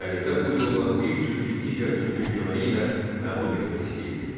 Xəlifə bu yolla bir türkü digər türkə köməyi ilə məğlub etmək istəyirdi.